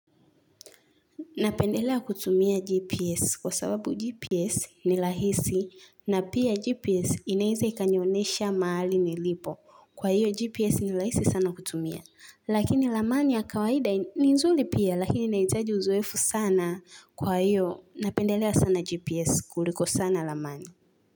Napendelea kutumia GPS kwa sababu GPS ni lahisi na pia GPS inaeza ikanionesha maali nilipo. Kwa hiyo GPS ni lahisi sana kutumia. Lakini lamani ya kawaida ni nzuli pia lakini inaitaji uzoefu sana kwa hiyo napendelea sana GPS kuliko sana lamani.